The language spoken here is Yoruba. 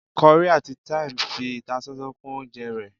curry atí thyme fi ìtásánsán kún oúnjẹ ré